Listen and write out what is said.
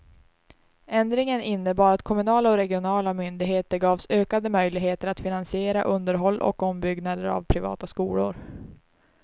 Ändringen innebar att kommunala och regionala myndigheter gavs ökade möjligheter att finansiera underhåll och ombyggnader av privata skolor.